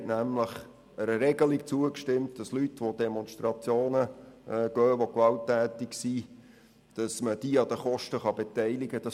Sie haben einer Regelung zugestimmt, wonach Leute, welche an Demonstrationen beteiligt sind, an den Kosten beteiligt werden können.